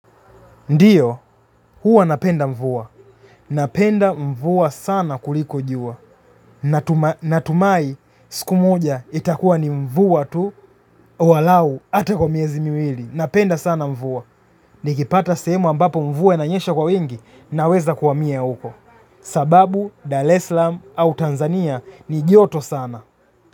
Ndiyo, huwa napenda mvua. Napenda mvua sana kuliko jua. Natumai siku moja itakuwa ni mvua tu walau hata kwa miezi miwili. Napenda sana mvua. Nikipata sehemu ambapo mvua inanyesha kwa wingi na weza kuhamia huko. Sababu, Daleslam au Tanzania ni joto sana.